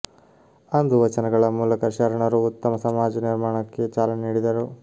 ಅಂದು ವಚನಗಳ ಮೂಲಕ ಶರಣರು ಉತ್ತಮ ಸಮಾಜ ನಿರ್ಮಾಣಕ್ಕೆ ಚಾಲನೆ ನೀಡಿದರು